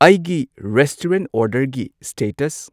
ꯑꯩꯒꯤ ꯂꯤꯁꯇ ꯑꯣꯔꯗꯔꯒꯤ ꯁ꯭ꯇꯦꯇꯁ